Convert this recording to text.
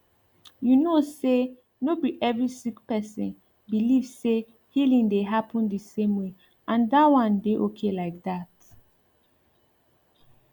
you know say no be every sick person believe say healing dey happen the same way and that one dey okay like that